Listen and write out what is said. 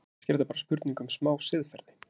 Kannski er þetta bara spurning um smá siðferði?